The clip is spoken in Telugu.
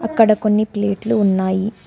ఇక్కడ కొన్ని ప్లేట్లు ఉన్నాయి.